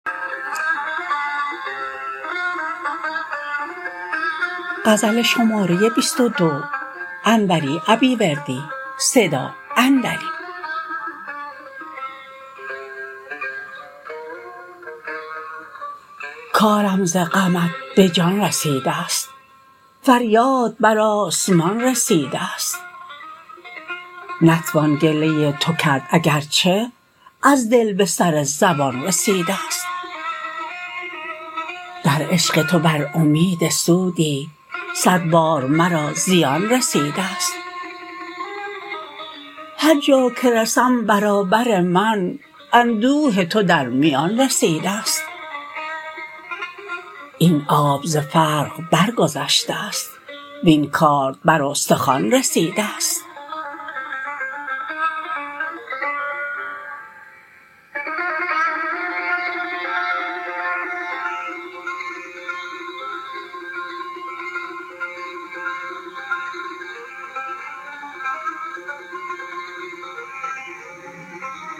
کارم ز غمت به جان رسیدست فریاد بر آسمان رسیدست نتوان گله تو کرد اگرچه از دل به سر زبان رسیدست در عشق تو بر امید سودی صد بار مرا زیان رسیدست هرجا که رسم برابر من اندوه تو در میان رسیدست این آب ز فرق برگذشته است وین کارد بر استخوان رسیدست